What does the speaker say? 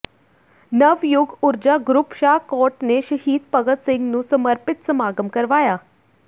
Navyug Urja group Shahkot ਨੇ ਸ਼ਹੀਦ ਭਗਤ ਸਿੰਘ ਨੂੰ ਸਮਰਪਿਤ ਸਮਾਗਮ ਕਰਵਾਇਆ